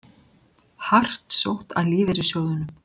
Hart sótt að lífeyrissjóðunum